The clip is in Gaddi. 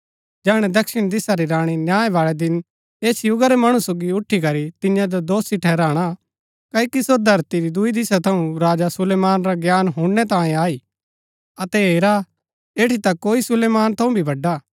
जैहणै दक्षिण दिशा री राणी न्याय बाळै दिन ऐस युगा रै मणु सोगी उठी करी तियां जो दोषी ठहराणा क्ओकि सो धरती री दूई दिशा थऊँ राजा सुलेमान रा ज्ञान हुणनै तांयें आई अतै अबै हेरा ऐठी ता कोई सुलेमान थऊँ भी वड़ा हा